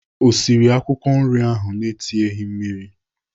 O siri akwụkwọ nri ahụ na-etinyeghị mmiri?